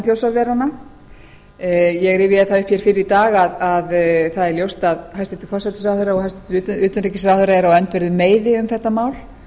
þjórsárveranna ég rifjaði það upp hér fyrr í dag að það er ljóst að hæstvirtur forsætisráðherra og hæstvirtur utanríkisráðherra eru á öndverðum meiði um þetta mál